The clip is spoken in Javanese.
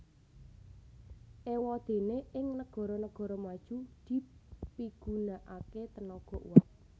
Éwadéné ing negara negara maju dipigunakaké tenaga uap